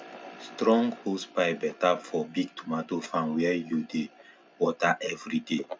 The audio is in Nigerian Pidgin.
strong hosepipe better for big tomato farm where you dey water every day